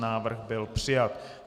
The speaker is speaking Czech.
Návrh byl přijat.